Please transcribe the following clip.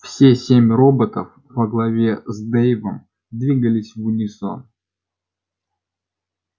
все семь роботов во главе с дейвом двигались в унисон